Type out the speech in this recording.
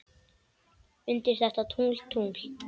undir þetta tungl, tungl.